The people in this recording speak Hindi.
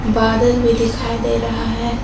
बादल भी दिखाई दे रहा है।